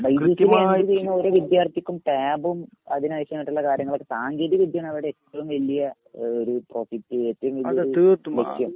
ഒരു വിദ്യാർത്ഥിക്കും ടാബും അതിനയച്ചു തന്നിട്ടുള്ള കാര്യങ്ങളൊക്കെ സാങ്കേതിക വിദ്യയാണ് അവിടെ ഏറ്റവും വലിയ ഏഹ് ഒരു പ്രോഫിറ്റ്. ഏറ്റവും വലിയ